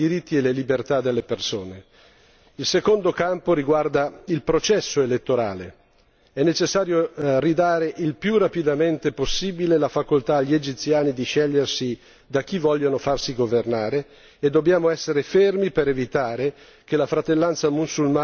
Il secondo campo riguarda il processo elettorale è necessario ridare il più rapidamente possibile la facoltà agli egiziani di scegliere da chi vogliono farsi governare e dobbiamo essere fermi per evitare che la fratellanza mussulmana venga ricacciata nella clandestinità.